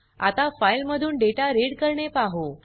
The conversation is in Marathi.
आता फाइल मधून डेटा रीड करणे पाहु